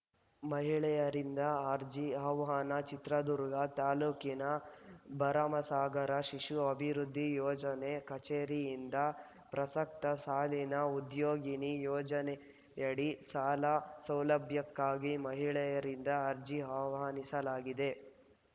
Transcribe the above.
ಮಹಿಳೆಯರಿಂದ ಅರ್ಜಿ ಆಹ್ವಾನ ಚಿತ್ರದುರ್ಗ ತಾಲೂಕಿನ ಭರಮಸಾಗರ ಶಿಶು ಅಭಿವೃದ್ಧಿ ಯೋಜನೆ ಕಚೇರಿಯಿಂದ ಪ್ರಸಕ್ತ ಸಾಲಿನ ಉದ್ಯೋಗಿನಿ ಯೋಜನೆಯಡಿ ಸಾಲ ಸೌಲಭ್ಯಕ್ಕಾಗಿ ಮಹಿಳೆಯರಿಂದ ಅರ್ಜಿ ಆಹ್ವಾನಿಸಲಾಗಿದೆ